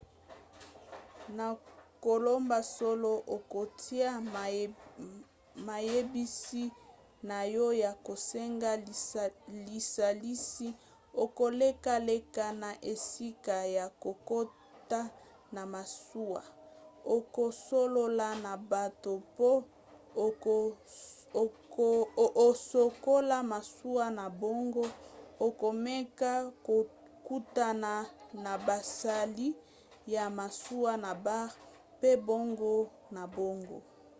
na koloba solo okotya mayebisi na yo ya kosenga lisalisi okolekaleka na esika ya kokota na masuwa okosolola na bato mpo osokola masuwa na bango okomeka kokutana na basali ya masuwa na bar mpe bongo na bongo